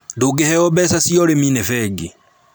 Ndũngĩheo mbeca cia ũrĩmi nĩ bengi